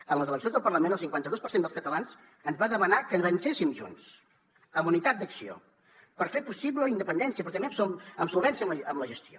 en les eleccions del parlament el cinquanta dos per cent dels catalans ens va demanar que avancéssim junts amb unitat d’acció per fer possible la independència però també amb solvència amb la gestió